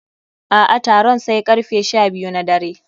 A'a, taron sai karfe sha biyu na dare.